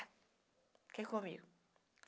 Fiquei comigo.